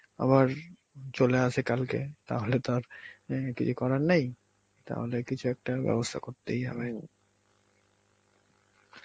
আবার চলে আসে কালকে তাহলে তো আর অ্যাঁ কিছু করার নেই, তাহলে কিছু একটা ব্যবস্থা করতেই হবে.